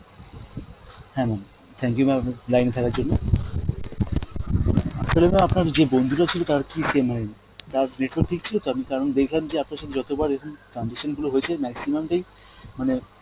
হ্যাঁ mam, thank you mam আপ~ line এ থাকার জন্য. আসলে mam আপনার যে বন্ধুটা ছিল তার কি , তার network ঠিক ছিল তো কারণ দেখলাম যে আপনার সথে যতবার এইরকম transaction গুলো হয়েছে maximum টাই মানে